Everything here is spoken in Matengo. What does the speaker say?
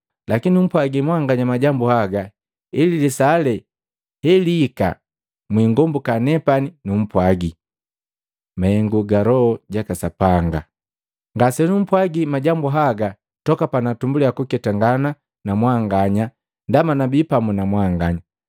Lakini numpwagi mwanganya majambu haga, ili lisaa lee heliika mwingombuka nepani numpwagi. Mahengu ga Loho jaka Sapanga “Ngasenumpwagi majambu haga toka panaatumbuliya kuketangana na mwanganya ndaba nabii pamu na mwanganya.